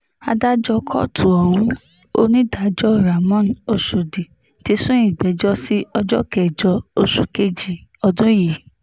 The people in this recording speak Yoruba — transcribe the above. adájọ́ kóòtù ohun onídàájọ́ ramón ọ̀shọ́dì ti sún ìgbẹ́jọ́ sí ọjọ́ kẹjọ oṣù kejì ọdún yìí